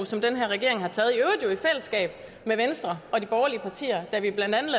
som den her regering har taget jo i fællesskab med venstre og de borgerlige partier da vi blandt andet